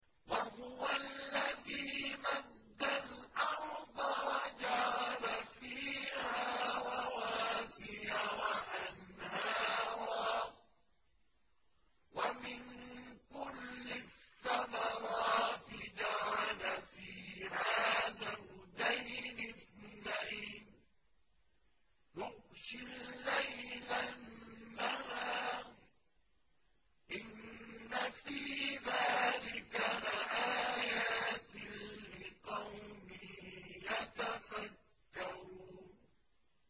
وَهُوَ الَّذِي مَدَّ الْأَرْضَ وَجَعَلَ فِيهَا رَوَاسِيَ وَأَنْهَارًا ۖ وَمِن كُلِّ الثَّمَرَاتِ جَعَلَ فِيهَا زَوْجَيْنِ اثْنَيْنِ ۖ يُغْشِي اللَّيْلَ النَّهَارَ ۚ إِنَّ فِي ذَٰلِكَ لَآيَاتٍ لِّقَوْمٍ يَتَفَكَّرُونَ